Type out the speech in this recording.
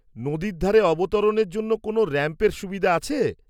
নদীর ধারে অবতরণের জন্য কোনও র‍্যাম্পের সুবিধা আছে?